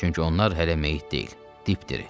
Çünki onlar hələ meyit deyil, dipdiri.